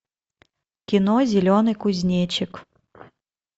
кино зеленый кузнечик